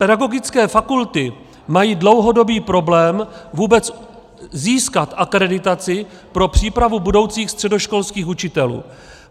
Pedagogické fakulty mají dlouhodobý problém vůbec získat akreditaci pro přípravu budoucích středoškolských učitelů.